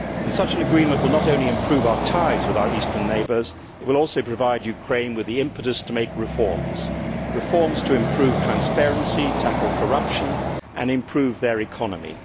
Such an agreement will not only improve our ties with our eastern neighbours, it will also provide Ukraine with the impetus to make reforms reforms to improve transparency, tackle corruption and improve the economy.